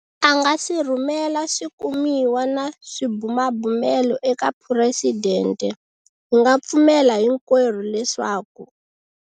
A nga si rhumela swikumiwa na swibumabumelo eka Phuresidente, hi nga pfumela hinkwerhu leswaku.